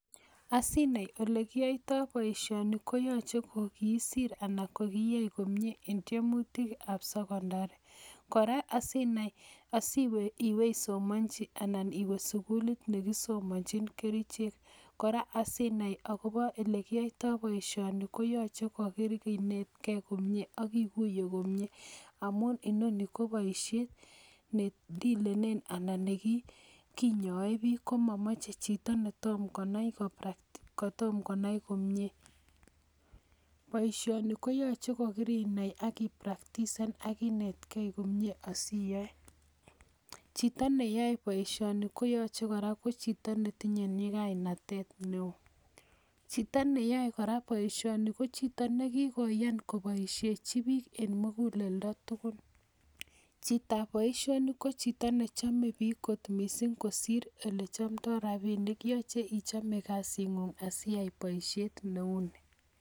Asinai olekiyoito boishoni koyaache sir anan koiyai komie en temutik ab secondary koraa asinai anan iwe isomanji anan iwee sugulit nekisomanjin kerchek koraa asinai Kole Koba yeliyaitoi baishoni koyache kokoinetgei komie agiguie komie amun inoni ko baishet nedilenen anan ko kinyoe bik komamache Chito netomo Kanai kopractisen anan konam komie ,baishoni koyache kokorinai anan koyache inetgei komie asiyae Chito neyame baishoni koyache koraa kochito netinye nyikainatet neo, Chito neyame koraa baishoni ko Chito nigigoyanbkobaishechinbbik en mugulendo neon, Chito ab baishonik ko Chito neachome bik kotko mising kosir yelechomdoo rabinik ako yache ichome kasin ngung siyai baishet neuni